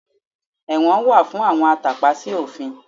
Ẹ̀wọ̀n wà fún àwọn atàpa sí òfin